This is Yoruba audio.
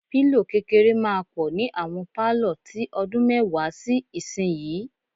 Pílò kékeré máa pọ̀ ni àwọn pálọ̀ tí ọdún mẹ́wàá sí ìsinyìí.